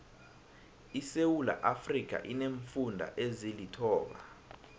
isewuula iafrika ineemfunda ezilithoba